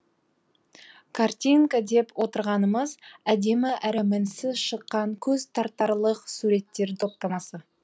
картинка деп отырғанымыз әдемі әрі мінсіз шыққан көз тартарлық суреттер топтамасы